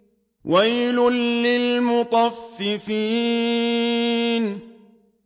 وَيْلٌ لِّلْمُطَفِّفِينَ